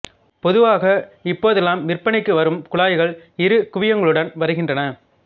பொதுவாக இப்போதெல்லாம் விற்பனைக்கு வரும் குழாய்கள் இரு குவியங்களுடன் வருகின்றன